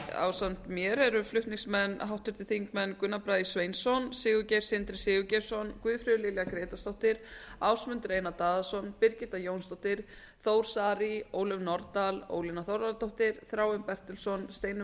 ásamt mér eru flutningsmenn þeir háttvirtir þingmenn gunnar bragi sveinsson sigurgeir sindri sigurgeirsson guðfríður lilja grétarsdóttir ásmundur einar daðason birgitta jónsdóttir þór saari ólöf nordal ólína þorvarðardóttir þráinn bertelsson steinunn